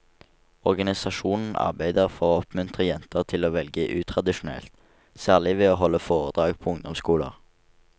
Organisasjonen arbeider for å oppmuntre jenter til å velge utradisjonelt, særlig ved å holde foredrag på ungdomsskoler.